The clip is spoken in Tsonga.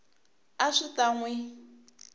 a swi ta n wi